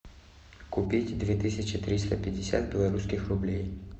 купить две тысячи триста пятьдесят белорусских рублей